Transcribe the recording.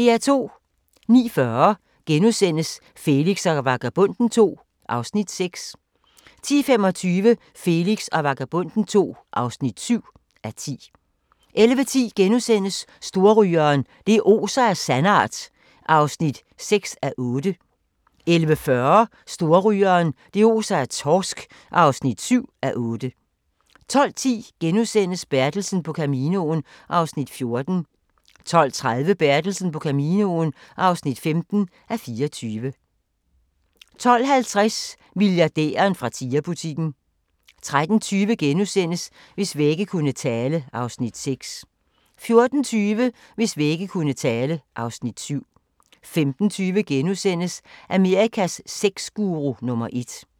09:40: Felix og Vagabonden II (6:10)* 10:25: Felix og Vagabonden II (7:10) 11:10: Storrygeren – det oser af sandart (6:8)* 11:40: Storrygeren – det oser af torsk (7:8) 12:10: Bertelsen på Caminoen (14:24)* 12:30: Bertelsen på Caminoen (15:24) 12:50: Milliardæren fra Tiger-butikken 13:20: Hvis vægge kunne tale (Afs. 6)* 14:20: Hvis vægge kunne tale (Afs. 7) 15:20: Amerikas sexguru nummer ét *